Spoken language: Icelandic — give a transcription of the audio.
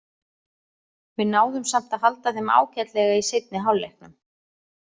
Við náðum samt að halda þeim ágætlega í seinni hálfleiknum.